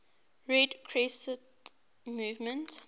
red crescent movement